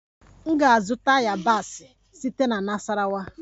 M ga-azụta yabasị site na Nasarawa